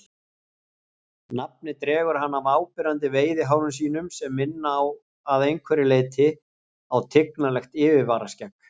Nafnið dregur hann af áberandi veiðihárum sínum sem minna að einhverju leyti á tignarlegt yfirvaraskegg.